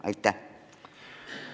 Aitäh!